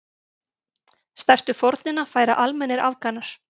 Stærstu fórnina færa almennir Afganar.